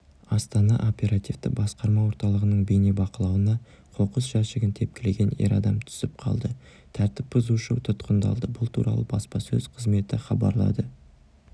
астана оперативті басқарма орталығының бейнебақылауына қоқыс жәшігін тепкілеген ер адам түсіп қалды тәртіп бұзушы тұтқындалды бұл туралы баспасөз қызметі хабарлады